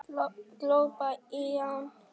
Glópa lán